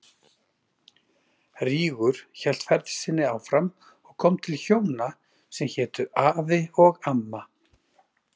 Rígur hélt ferð sinni áfram og kom til hjóna sem hétu Afi og Amma.